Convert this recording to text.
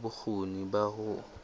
na le bokgoni ba ho